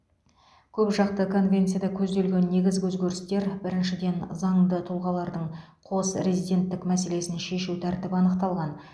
көпжақты конвенцияда көзделген негізгі өзгерістер біріншіден заңды тұлғалардың қос резиденттік мәселесін шешу тәртібі анықталған